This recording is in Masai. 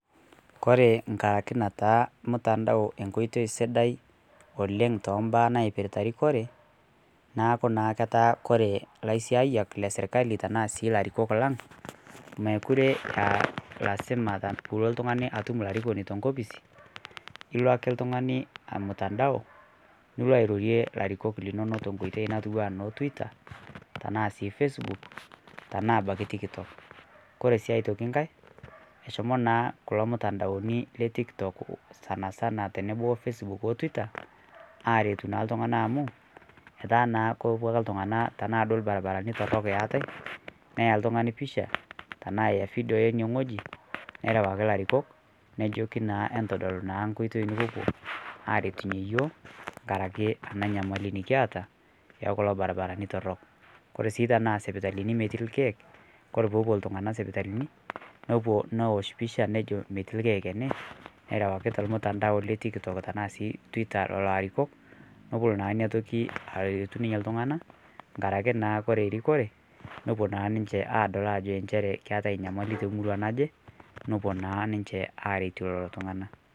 Kore ng'arake nataa mtandao enkoitei sidai oleng' tembaa naipiritaa rikoree naaku naa ketaa kore laisiayak lesirkalii tanaa sii larikok lang' mekuree aa elasima piloo atum larikoni tenkopisii iloo akee ltung'anii amutandao niloo airorie larikok linono tenkoitei natuwaa no twitter tanaa sii facebook tanaa abakii Tiktok kore sii otokii ng'hai eshomoo naa kuloo mutandaonii le tiktok sanasana teneboo oo facebook oo Twitter aretuu naa ltung'ana amuu etaa naa kepuo akee ltung'ana tanaa duo lbarbaranii torok eatai neya ltung'ani picha tanaa eyaa video einie ng'hoji nerawakii larikok nejokii naa intodol naa nkoitei nipopuo aretunyee yooh ng'arake ana nyamali nikiata ekuloo barbaranii torok kore sii tanaa sipitalinii metii lkeek kore peepuo ltung'ana sipitalinii nopuo nowosh picha nejoo metii lkeek enee nerewakii telmutandao le Tiktok tanaa sii twitter leloo arikok nopol naa inia tokii aretuuu naa ninye ltung'ana ng'arake naa kore rikoree nopuo naa ninshee adol ensheree ekeatai nyamalii te murua najee nopuo naa ninshe aretuu leloo tung'ana .